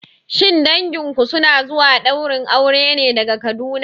Shin danginku suna zuwa ɗaurin auren ne daga Kaduna?